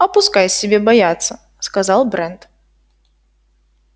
а пускай себе боятся сказал брент